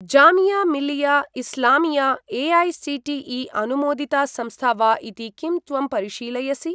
Jamia Millia Islamia AICTE. अनुमोदिता संस्था वा इति किं त्वं परिशीलयसि?